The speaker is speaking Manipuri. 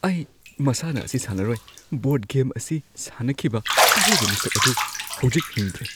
ꯑꯩ ꯃꯁꯥꯟꯅ ꯑꯁꯤ ꯁꯥꯟꯅꯔꯣꯏ꯫ ꯕꯣꯔꯗ ꯒꯦꯝ ꯑꯁꯤ ꯁꯥꯟꯅꯈꯤꯕ ꯑꯔꯣꯏꯕ ꯃꯤꯁꯛ ꯑꯗꯨ ꯍꯧꯖꯤꯛ ꯍꯤꯡꯗ꯭ꯔꯦ꯫